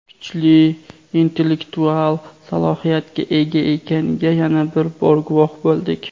kuchli intellektual salohiyatga ega ekaniga yana bir bor guvoh bo‘ldik.